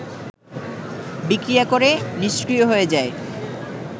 বিক্রিয়া করে নিষ্ক্রিয় হয়ে যায়